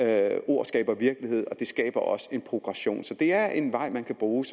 at ord skaber virkelighed og det skaber også en progression så det er en vej man kan bruge